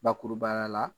Bakurubaya la